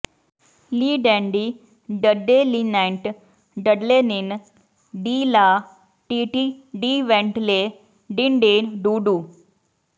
ਲੀ ਡੈਂਡੀ ਡਡੇਲਿਨੈਂਟ ਡਡਲੇਨਿਨ ਡੀ ਲਾ ਟੀਟੀ ਡੀਵੈਂਟ ਲੇ ਡਿੰਡੇਨ ਡੂਡੂ